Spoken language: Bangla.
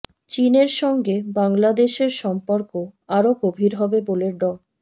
চীনের সঙ্গে বাংলাদেশের সম্পর্ক আরও গভীর হবে বলে ড